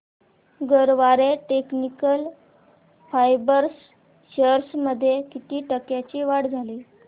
Garware technical fibres shares मध्ये किती टक्क्यांची वाढ झाली